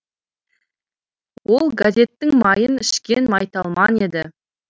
ол газеттің майын ішкен майталман еді